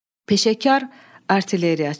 Peşəkar artilleriyaçı.